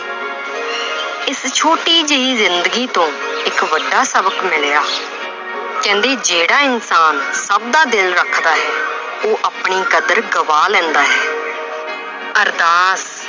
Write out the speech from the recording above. ਇਸ ਛੋਟੀ ਜਿਹੀ ਜ਼ਿੰਦਗੀ ਤੋਂ ਇੱਕ ਵੱਡਾ ਸਬਕ ਮਿਲਿਆ ਕਹਿੰਦੇ ਜਿਹੜਾ ਇਨਸਾਨ ਸਭ ਦਾ ਦਿਲ ਰੱਖਦਾ ਹੈ, ਉਹ ਆਪਣੀ ਕਦਰ ਗਵਾ ਲੈਂਦਾ ਹੈ ਅਰਦਾਸ